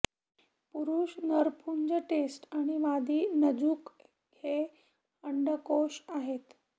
पुरुष नरपुंज टेस्ट आणि मादी जनुक हे अंडकोष आहेत